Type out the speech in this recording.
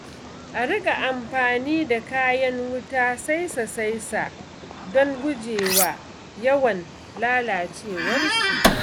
A riƙa amfani da kayan wuta saisa-saisa don gujewa yawan lalacewarsu.